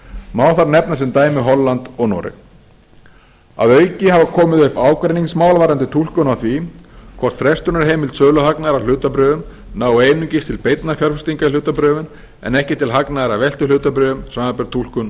má þar nefna sem dæmi holland og noreg að auki hafa komið upp ágreiningsmál varðandi túlkun á því hvort frestunarheimild söluhagnaðar á hlutabréfum nái einungis til beinnar fjárfestingar í hlutabréfum en ekki til hagnaðar á veltuhlutabréfa samanber túlkun